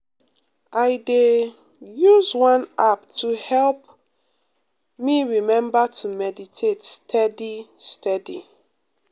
i dey um use one app to help um me remember to meditate steady steady.